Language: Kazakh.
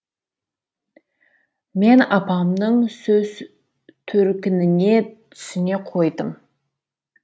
мен апамның сөз төркініне түсіне қойдым